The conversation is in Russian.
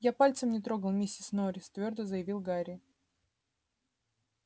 я пальцем не трогал миссис норрис твёрдо заявил гарри